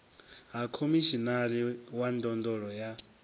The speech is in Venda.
ha khomishinari wa ndondolo ya